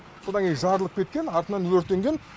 содан кейін жарылып кеткен артынан өртенген